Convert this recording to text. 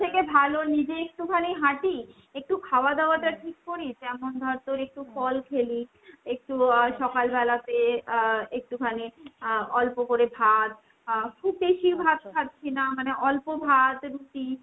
এর থেকে ভালো নিজেই একটুখানি হাঁটি, একটু খাওয়া দাওয়াটা ঠিক করি। যেমন ধর তোর একটু ফল খেলি, একটু আহ সকাবেলাতে আহ একটুখানি আহ অল্প করে ভাত। আহ খুব বেশি ভাত খাচ্ছিনা মানে অল্প ভাত রুটি,